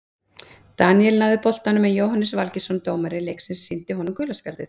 Daníel náði boltanum en Jóhannes Valgeirsson dómari leiksins sýndi honum gula spjaldið.